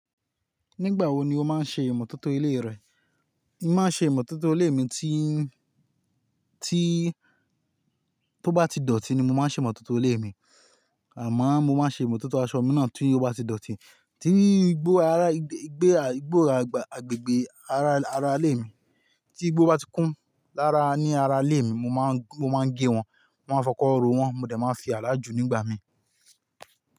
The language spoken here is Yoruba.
Nígbà wo ni o máa ń ṣe ìmọ̀tótó ilé rẹ? Mo máa ń ṣe ìmọ̀tótó ilé mi tí, tí, tó bá ti dọ̀tí ni mo máa ń ṣe ìmọ̀tótó ilé mi. Àmọ́ mo máa ń ṣe ìmọ̀tótó aṣọ mi náà tí ó bá ti dọ̀tí. Tí igbó ara, igbé, igbó àgbè, agbègbè ara, ara ilé mi. Tí igbó bá ti kún lára ní ara ilé mi, mo máa ń, mo máa ń gé wọn, mo máa ń fọkọ́ ro wọ́n, mo dẹ̀ máa fi àdà jù nígbà mi.